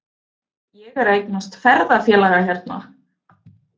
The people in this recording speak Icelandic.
Ég er að eignast ferðafélaga hérna.